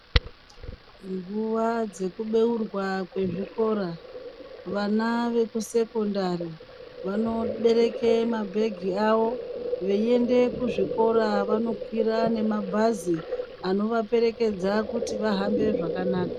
Nguwa dzekubeurwa kwezvikora vana vekusekondari vanobereke mabhegi awo veiende kuzvikora vanokwire nemabhazi anovaperekedza kuti vahambe zvakanaka .